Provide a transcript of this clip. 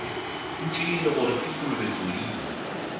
ntšwele gore ke kolobe tsodii